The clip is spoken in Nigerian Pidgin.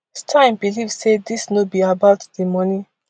stein believe say dis no be about di money